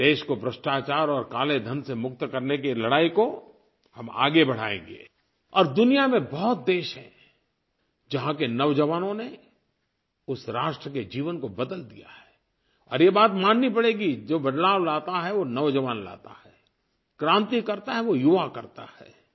देश को भ्रष्टाचार और कालेधन से मुक्त करने की ये लड़ाई को हम आगे बढ़ाएँगे और दुनिया में बहुत देश हैं जहाँ के नौजवानों ने उस राष्ट्र के जीवन को बदल दिया है और ये बात माननी पड़ेगी जो बदलाव लाता है वो नौजवान लाता है क्रांति करता है वो युवा करता है